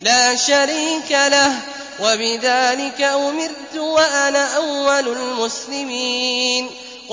لَا شَرِيكَ لَهُ ۖ وَبِذَٰلِكَ أُمِرْتُ وَأَنَا أَوَّلُ الْمُسْلِمِينَ